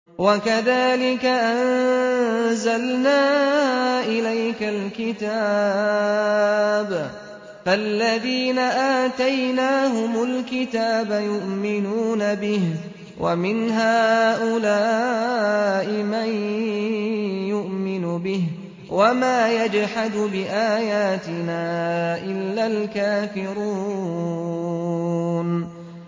وَكَذَٰلِكَ أَنزَلْنَا إِلَيْكَ الْكِتَابَ ۚ فَالَّذِينَ آتَيْنَاهُمُ الْكِتَابَ يُؤْمِنُونَ بِهِ ۖ وَمِنْ هَٰؤُلَاءِ مَن يُؤْمِنُ بِهِ ۚ وَمَا يَجْحَدُ بِآيَاتِنَا إِلَّا الْكَافِرُونَ